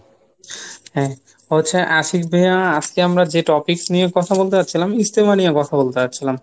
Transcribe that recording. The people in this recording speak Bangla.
হ্যা, ও আচ্ছা আশিক ভাইয়া আজকে আমরা যে টপিকস নিয়ে কথা বলতে চাচ্ছিলাম ইজতেমা নিয়ে কথা বলতে চাচ্ছিলাম।